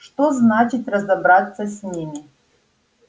что значит разобраться с ними